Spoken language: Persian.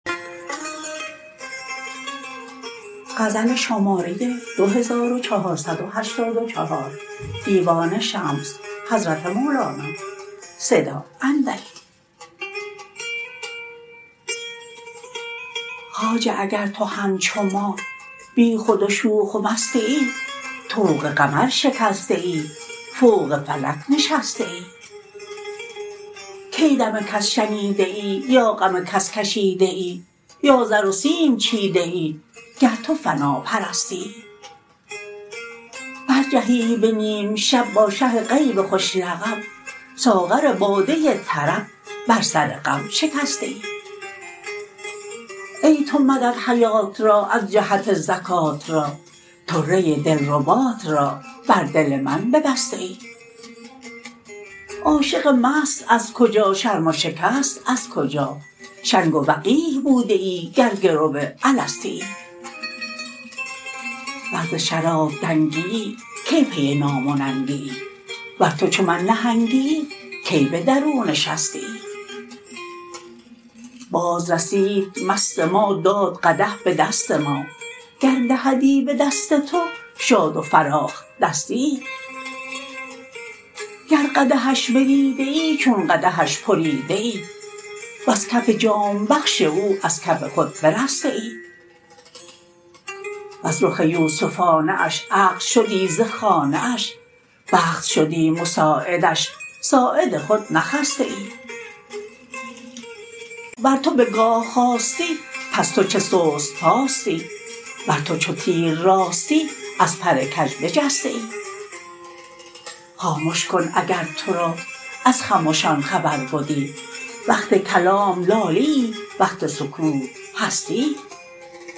خواجه اگر تو همچو ما بیخود و شوخ و مستیی طوق قمر شکستیی فوق فلک نشستیی کی دم کس شنیدیی یا غم کس کشیدیی یا زر و سیم چیدیی گر تو فناپرستیی برجهیی به نیم شب با شه غیب خوش لقب ساغر باده طرب بر سر غم شکستیی ای تو مدد حیات را از جهت زکات را طره دلربات را بر دل من ببستیی عاشق مست از کجا شرم و شکست از کجا شنگ و وقیح بودیی گر گرو الستیی ور ز شراب دنگیی کی پی نام و ننگیی ور تو چو من نهنگیی کی به درون شستیی بازرسید مست ما داد قدح به دست ما گر دهدی به دست تو شاد و فراخ دستیی گر قدحش بدیدیی چون قدحش پریدیی وز کف جام بخش او از کف خود برستیی وز رخ یوسفانه اش عقل شدی ز خانه اش بخت شدی مساعدش ساعد خود نخستیی ور تو به گاه خاستی پس تو چه سست پاستی ور تو چو تیر راستی از پر کژ بجستیی خامش کن اگر تو را از خمشان خبر بدی وقت کلام لاییی وقت سکوت هستیی